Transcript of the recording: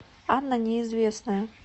анна неизвестная